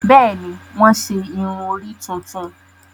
Bẹẹni, wọn ṣe irun-ori tuntun